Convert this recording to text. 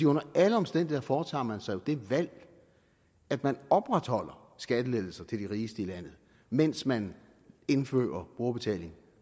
under alle omstændigheder foretager man jo så det valg at man opretholder skattelettelser til de rigeste i landet mens man indfører brugerbetaling